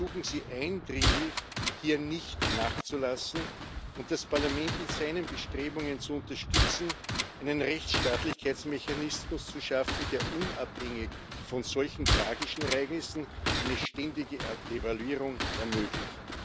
Wir ersuchen Sie eindringlich, hier nicht nachzulassen und das Parlament in seinen Bestrebungen zu unterstützen, einen Rechtsstaatlichkeitsmechanismuns zu schaffen, der unabhängig von solch tragischen Ereignissen eine ständige Evaluierung ermöglicht.